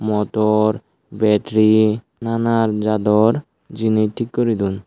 motor battery nanan jador jenis thik guri don.